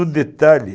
Um detalhe.